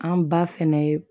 An ba fɛnɛ ye